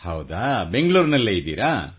ಹೌದಾ ಬೆಂಗಳೂರಿನಲ್ಲೇ ಇದ್ದೀರಾ